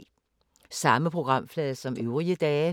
Samme programflade som øvrige dage